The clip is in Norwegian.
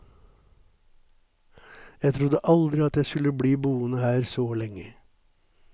Jeg trodde aldri at jeg skulle bli boende her så lenge.